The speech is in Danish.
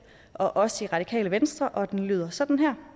og os i radikale venstre og det lyder sådan her